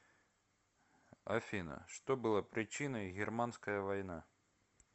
афина что было причиной германская война